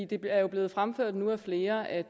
det er jo blevet fremført nu af flere at